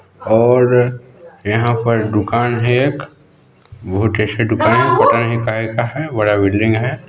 और यहाँ पर दुकान है एक बहुत ही अच्छी दुकान है पता नहीं काहे का है बड़ा बिल्डिंग हैं।